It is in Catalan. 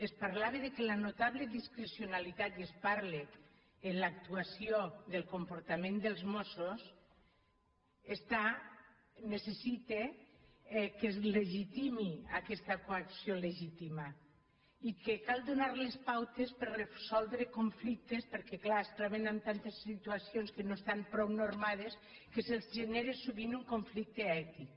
es parlava que la notable discrecionalitat i es parla en l’actuació del comportament dels mossos necessita que es legitimi aquesta coacció legítima i que cal donar les pautes per resoldre conflictes perquè clar es troben amb tantes situacions que no estan prou nor·mades que se’ls genera sovint un conflicte ètic